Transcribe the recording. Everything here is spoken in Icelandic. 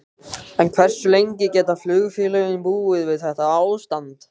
En hversu lengi geta flugfélögin búið við þetta ástand?